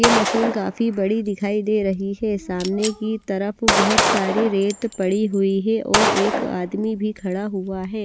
ये मशीन काफी बड़ी दिखाई दे रही है सामने की तरफ बहुत सारी रेत पड़ी हुई है और एक आदमी भी खड़ा हुआ है।